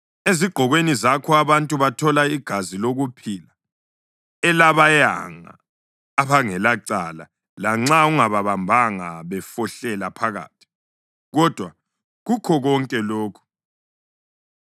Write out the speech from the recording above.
Ezigqokweni zakho abantu bathola igazi lokuphila elabayanga abangelacala lanxa ungababambanga befohlela phakathi. Kodwa kukho konke lokhu